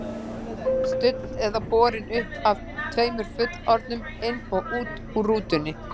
Studd eða borin uppi af tveimur fullorðnum, inn og út úr rútunni.